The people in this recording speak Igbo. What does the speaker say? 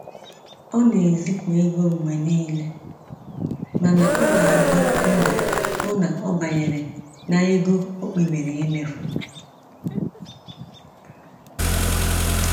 Ọ na-ezipụ ego mgbe niile mana ọ na agba mgbọ hụ na ọ banyere na ego o kpebiri imefu